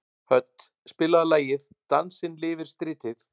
Hödd, spilaðu lagið „Dansinn lifir stritið“.